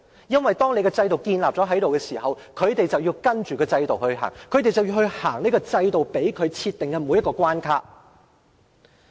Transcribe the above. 因為當制度建立後，他們便要跟隨制度，走這制度設定的每一道關卡。